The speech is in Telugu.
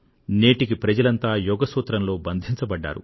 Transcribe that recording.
నేటికీ ప్రజలంతా యోగ సూత్రంలో బంధించబడ్డారు